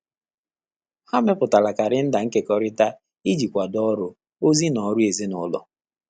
Há mépụ́tàrà kàléndà nkèkọ́rị́tà ìjí kwàdò ọ́rụ́, ózị́ nà ọ́rụ́ èzínụ́lọ́.